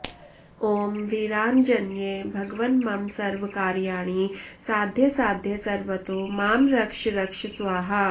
ॐ वीराञ्जनेय भगवन् मम सर्वकार्याणि साधय साधय सर्वतो मां रक्ष रक्ष स्वाहा